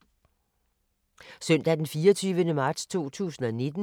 Søndag d. 24. marts 2019